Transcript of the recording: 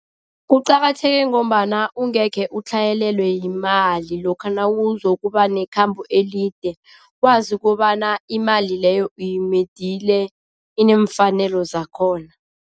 Kuqakatheke ngombana ungekhe utlhayelelwa yimali lokha nawuzokuba nekhambo elide, wazi kobana imali leyo uyimedile inemfanelo zakhona.